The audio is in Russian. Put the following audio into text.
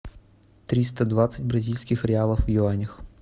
триста двадцать бразильских реалов в юанях